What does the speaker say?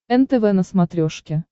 нтв на смотрешке